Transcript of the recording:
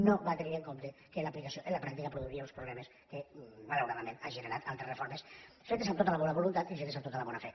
no va tenir en compte que en l’aplicació en la pràctica produiria uns problemes que malauradament han generat altres reformes fetes amb tota la bona voluntat i fetes amb tota la bona fe